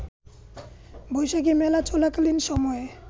বৈশাখি মেলা চলাকালীন সময়ে